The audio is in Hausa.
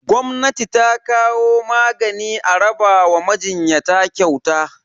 Gwamnati ta kawo magani a raba wa majinyata kyauta.